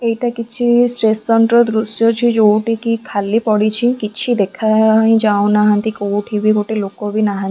ଏଇଟା କିଛି ଷ୍ଟେସନ୍ ର ଦୃଶ୍ୟ ଅଛି ଯୋଉଠିକି ଖାଲି ପଡିଛି କିଛି ଦେଖା ଆ ହିଁ ଯାଉନାହାନ୍ତି କୋଉଠି ବି ଗୋଟେ ଲୋକ ବି ନାହିଁ --